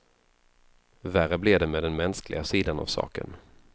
Värre blev det med den mänskliga sidan av saken.